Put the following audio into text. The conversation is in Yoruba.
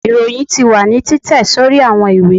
iroyín tí wa ni titẹ sorí awọn ìwé